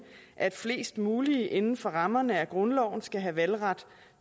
at flest mulige inden for rammerne af grundloven skal have valgret